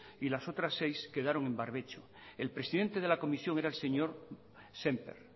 y las otras seis quedaron en barbecho el presidente de la comisión era el señor sémper